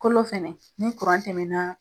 Kolo fɛnɛ ni kuran tɛmɛna